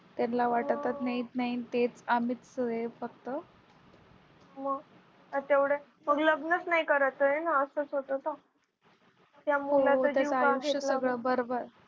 त्यानला वाटतच नाही तेच आम्हीच हे आहे फक्त मग तेवढं मग लग्नचं नाही करायचं ना मग असच होत तर त्या मुलाचं